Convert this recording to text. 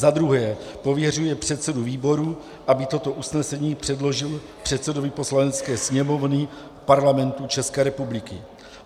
Za druhé pověřuje předsedu výboru, aby toto usnesení předložil předsedovi Poslanecké sněmovny Parlamentu České republiky.